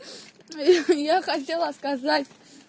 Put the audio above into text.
я я хотела сказать